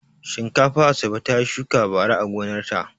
Shinkafa Asabe ta shuka bara a gonarta.